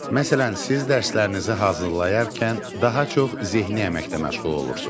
Məsələn, siz dərslərinizi hazırlayarkən daha çox zehni əməklə məşğul olursunuz.